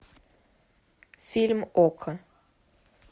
фильм окко